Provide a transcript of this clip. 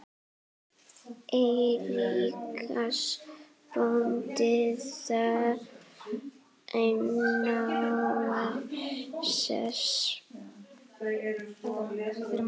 Eiríks bónda þar háan sess.